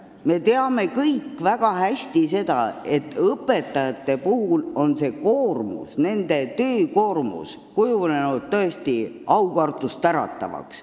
Me teame kõik väga hästi, et õpetajate töökoormus on kujunenud tõesti aukartust äratavaks.